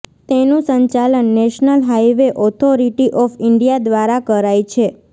તેનું સંચાલન national highway authority of India દ્વારા કરાય છે